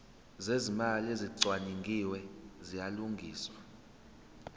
zezimali ezicwaningiwe ziyalungiswa